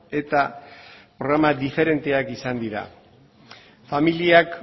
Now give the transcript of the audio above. eta programa diferenteak izan dira familiak